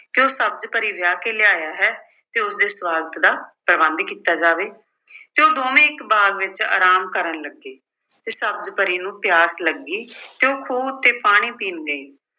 ਕਿ ਉਹ ਸਬਜ਼ ਪਰੀ ਵਿਆਹ ਕੇ ਲਿਆਇਆ ਹੈ ਤੇ ਉਸਦੇ ਨਿਵਾਸ ਦਾ ਪ੍ਰਬੰਧ ਕੀਤਾ ਜਾਵੇ ਤੇ ਉਹ ਦੋਵੇਂ ਇੱਕ ਬਾਗ ਵਿੱਚ ਆਰਾਮ ਕਰਨ ਲੱਗੇ ਤੇ ਸਬਜ਼ ਪਰੀ ਨੂੰ ਪਿਆਸ ਲੱਗੀ ਤੇ ਉਹ ਖੂਹ ਉੱਤੇ ਪਾਣੀ ਪੀਣ ਗਈ।